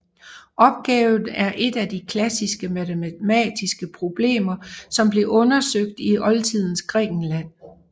Opgaven er et af de klassiske matematiske problemer som blev undersøgt i oldtidens Grækenland